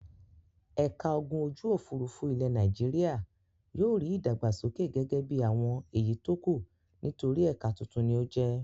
Ẹ̀ka ogun ojú-òfurufú ilẹ̀ Nàìjíríà yóò rí ìdàgbàsókè gẹ́gẹ́ bí àwọn èyí tó kù nítorí ẹ̀ka tuntun ni ó jẹ́.